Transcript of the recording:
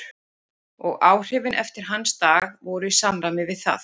Og áhrifin eftir hans dag voru í samræmi við það.